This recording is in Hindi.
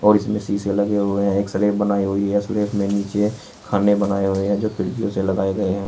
इसमें शीशे लगे हुए हैं एक स्लैब बनाई हुई है स्लैब में नीचे खाने बनाए हुए हैं जो खिड़कियों से लगाए गए हैं।